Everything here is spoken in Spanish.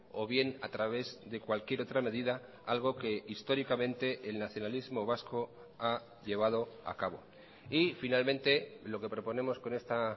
o bien a través de cualquier otra medida algo que históricamente el nacionalismo vasco ha llevado acabo y finalmente lo que proponemos con esta